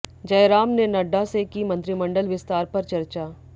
जयराम ने नड्डा से की मंत्रिमंडल विस्तार पर चर्चा